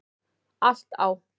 Allt á